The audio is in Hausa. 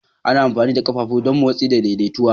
Ana amfani da ƙafafu don motsi da daidaituwa